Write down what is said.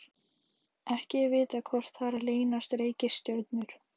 Ekki er vitað hvort þar leynast reikistjörnur.